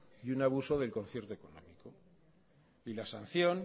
y un abuso del concierto económico y la sanción